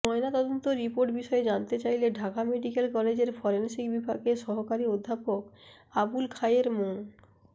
ময়নাতদন্ত রিপোর্ট বিষয়ে জানতে চাইলে ঢাকা মেডিক্যাল কলেজের ফরেনসিক বিভাগের সহকারী অধ্যাপক আবুল খায়ের মো